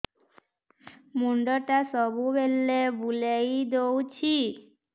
ମୁଣ୍ଡଟା ସବୁବେଳେ ବୁଲେଇ ଦଉଛି